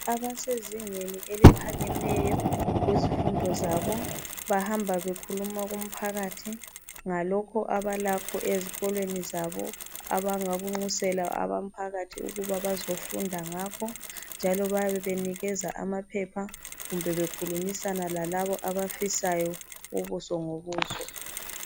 Abasezingeni eliphakemeyo kuzifundo zabo, bahamba bekhuluma kumphakathi ngalokho abalakho ezikolweni zabo abangakunxusela umphakathi ukuba bazofunda ngakho, njalo bayabe benikeza amaphepha kumbe bekhulumisana lalabo abafisayo ukuzokuzwa.